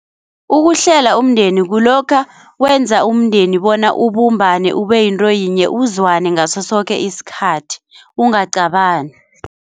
Ukuhlela umndeni kulokha wenza umndeni bona ubumbane ube yinto yinye uzwane ngaso soke isikhathi ungaqabani.